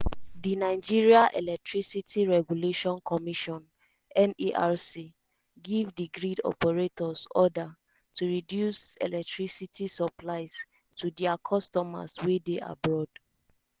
di nigeria electricity regulation commission (nerc) give di grid operators order to reduce electricity supplies to dia customers wey dey abroad.